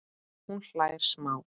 Hún hlær smá.